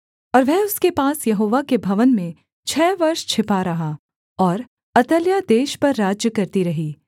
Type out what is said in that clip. और वह उसके पास यहोवा के भवन में छः वर्ष छिपा रहा और अतल्याह देश पर राज्य करती रही